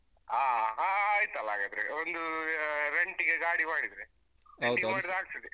ಹ ಹ ಆಯ್ತಲ್ಲ ಹಾಗಾದ್ರೆ. ಒಂದು ಅಹ್ rent ಗೆ ಗಾಡಿ ಮಾಡಿದ್ರೆ ರೆಡಿ ಮಾಡಿದ್ರೆ ಆಗ್ತದೆ.